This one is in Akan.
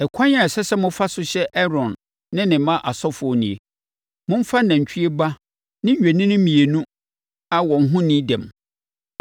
“Ɛkwan a ɛsɛ sɛ mofa so hyɛ Aaron ne ne mma asɔfoɔ nie: momfa nantwie ba ne nnwennini mmienu a wɔn ho nni dɛm;